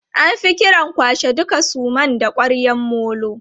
An fi kiran kwashe duka suman da ƙwaryan molo.